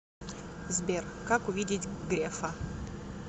сбер как увидеть грефа